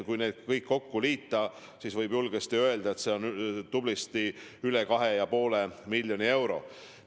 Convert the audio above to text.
Kui need kõik kokku liita, siis võib julgesti öelda, et seda on tublisti üle 2,5 miljoni euro.